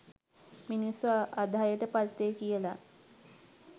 මිනිස්සු අධෛර්යට පත් වෙයි කියලා